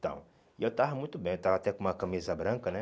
Então, e eu estava muito bem, eu estava até com uma camisa branca, né?